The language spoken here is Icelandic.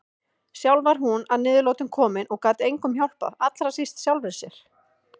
Sjálf var hún að niðurlotum komin og gat engum hjálpað, allra síst sjálfri sér.